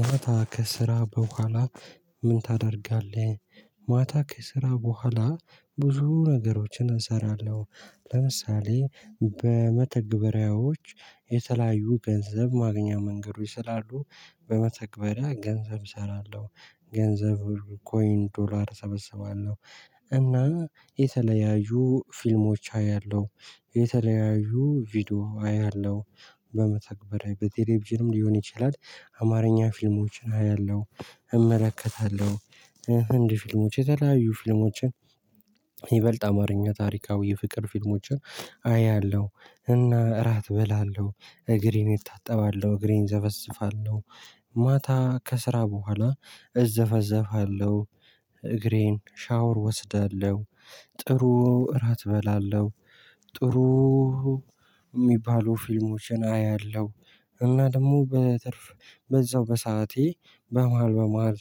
ማታ ከስራ በኋላ ምን ታደርጋለህ? ማታ ከስራ በኋላ ብዙ ነገሮችን እሰራለሁ። ለምሳሌ በመተግበሪያወች የተለያዩ ገንዘብ ማግኛ መንገዶች ስላሉ በመተግበሪያ ገንዘብ እሰራለሁ። ገንዘቡ ኮይን ዶላር እሰበሰባለሁ። እና የተለያዩ ፊልሞች አያለሁ የተለያዩ ቪዲዮ አያለሁ። በመተግበሪያ በቴሌቪዥንም ሊሆን ይችላል አማርኛ ፊልሞችን አያለሁ እመለከታለሁ። ህንድ ፊልሞች የተለያዩ ፊልሞችን ይበልጥ አማርኛ ታሪካዊ የፍቅር ፊልሞችን አያለሁ። እና እራት እበላለሁ እግሬን እታጠባለሁ እግሬን እዘፈዘፋለሁ ማታ ከስራ በኋላ እዘፈዘፋለሁ እግሬን ሻወር እወስዳለሁ። ጥሩ እራት እበላለሁ ጥሩ የሚባሉ ፊልሞችን አያለሁ። እና ደግሞ በትርፍ በዛው በሰአቴ በመሃል በመሃል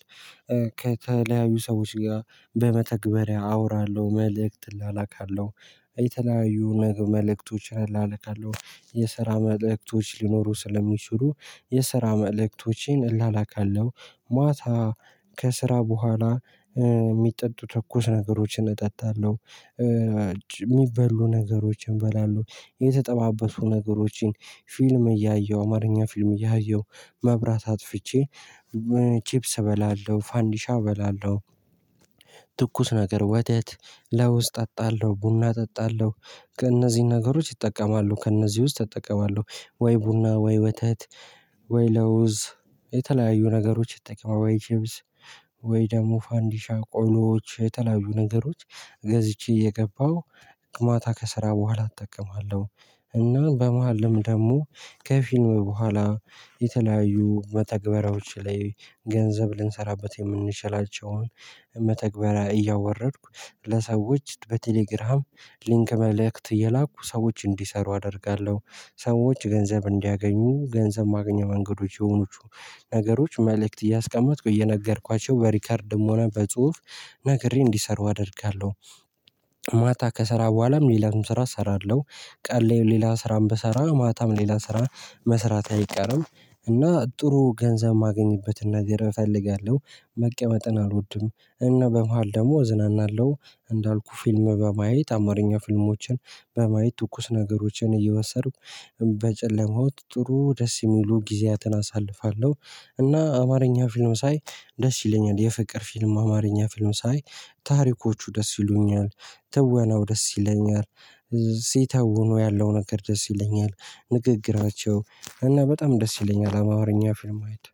ከተለያዩ ሰዎች ጋር በመተግበሪያ አውራለሁ መልእክት እላላካለሁ። የተለያዩ መል መልእክቶች እላላካለሁ የስራ መልእክቶች ሊኖሩ ስለሚችሉ የስራ መልእክቶችን እላላካለሁ። ማታ ከስራ በኋላ ሚጠጡ ትኩስ ነገሮችን እጠጣለሁ። የሚበሉ ነገሮችን እበላለው የተጠባበሱ ነገሮችን ፊልም እያየሁ አማርኛ ፊልም እያየሁ መብራት አጥፍቼ ቺፕስ እበላለሁ ፋንዲሻ እበላለሁ። ትኩስ ነገር ወተት ለውዝ እጠጣለሁ ቡና እጠጣለሁ። ከእነዚህ ነገሮች ይጠቀማሉ ከእነዚህ ውስጥ እጠቀማለሁ ወይ ቡና ወይ ወተት ወይ ለውዝ የተለያዩ ነገሮች እጠቀማለሁ ወይ ቺብስ ወይ ደግሞ ፋንዲሻ ቆሎዎች የተለያዩ ነገሮች ገዝቼ እየገባው ማታ ከስራ በኋላ እጠቀማለሁ። እና በመሃልም ደግሞ ከፊልም በኋላ የተለያዩ መተግበራዎች ላይ ገንዘብ ልንሰራበት የምንችላቸውን መተግበሪያ እያወረድኩ ለሰዎች በቴሌግራም ሊንክ መልእክት እየላኩ ሰዎች እንዲሰሩ አደርጋለሁ። ሰዎች ገንዘብ እንዲያገኙ ገንዘብ ማግኛ መንገዶች የሆኑቹ ነገሮች መልእክት እያስቀመጥኩ እየነገርኳቸው በሪከርድም ሆነ በጽሁፍ ነግሬ እንዲሰሩ አደርጋለሁ። ማታ ከሰራ በኋላም ሌላውም ስራ እሰራለሁ ቀን ላይ ሌላ ስራም ብሰራ ማታም ሌላ ስራ መስራቴ አይቀርም። እና ጥሩ ገንዘብ ማገኝበትና ነገር እፈልጋለሁ። መቀመጥን አልወድም። እና በመሃል ደግሞ እዝናናለሁ እንዳልኩት ፊልም በማየት አማርኛ ፊልሞችን በማየት ትኩስ ነገሮችን እየወሰዱኩ በጨለማው ጥሩ ደስ የሚሉ ጊዜያትን አሳልፋለሁ። እና አማርኛ ፊልም ሳይ ደስ ይለኛል። የፍቅር ፊልም አማርኛ ፊልም ሳይ ታሪኮቹ ደስ ይሉኛል። ትወናው ደስ ይለኛል። ሲተውኑ ያለው ነገር ደስ ይለኛል። ንግግራቸው እና በጣም ደስ ይለኛል አማርኛ ፊልም አይድ።